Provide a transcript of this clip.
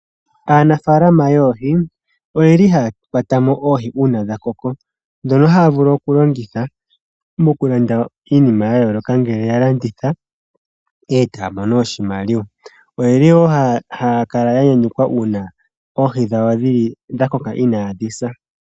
Aanafaalama yoohi oyeli haya kwatamo oohi uuna dhakoko , ndhono haya vulu okulongitha mokulanda iinima yayooloka , ngele yalanditha etaya mono oshimaliwa. Oyeli woo haya kala yanyayukwa uuna oohi dhawo dhakoka inaadhi sa.